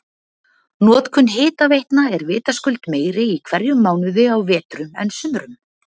notkun hitaveitna er vitaskuld meiri í hverjum mánuði á vetrum en sumrum